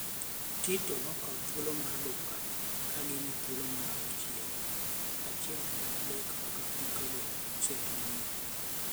Tite nokawo thuolo mar Dunga kagin e thuolo mar auchiel, achiel kuom adek mag tuke go osetugi.